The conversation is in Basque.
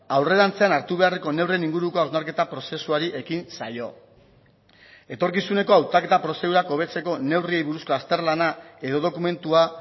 aurrerantzean hartu beharreko neurrien inguruko hausnarketa prozesuari ekin zaio etorkizuneko hautaketa prozedurak hobetzeko neurriei buruzko azterlana edo dokumentua